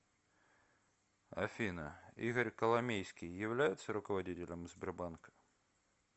афина игорь коломейский является руководителем сбербанка